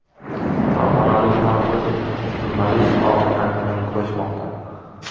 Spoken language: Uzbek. Farg‘onalik taniqli jurnalist og‘ir dard bilan kurashmoqda.